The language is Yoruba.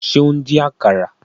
Se o n dín àkàrà?